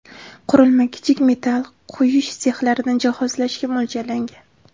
Qurilma kichik metal quyish sexlarini jihozlashga mo‘ljallangan.